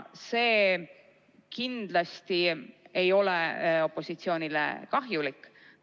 See ei ole kindlasti opositsioonile kahjulik.